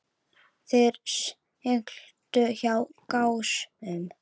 Þeir sigldu hjá Gásum.